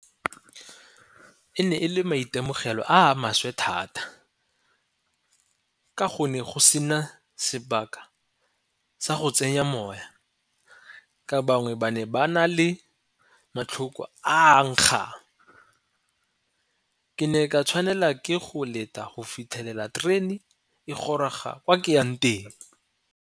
E ne e le maitemogelo a maswe thata ka go ne go sena sebaka sa go tsenya moya ka bangwe ba ne ba na le matlhoko a nkgang. Ke ne ka tshwanela ke go leta go fitlhelela terene e goroga ko ke yang teng.